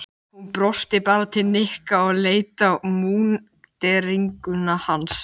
Hún brosti bara til Nikka og leit á múnderinguna hans.